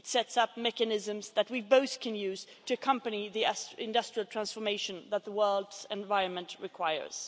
It sets up mechanisms that both parties can use to accompany the industrial transformation that the world's environment requires.